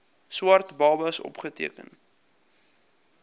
swart babas opgeteken